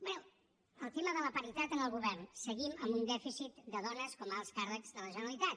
bé el tema de la paritat en el govern seguim amb un dèficit de dones com a alts càrrecs de la generalitat